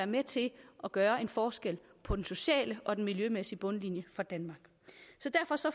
med til at gøre en forskel på den sociale og den miljømæssige bundlinje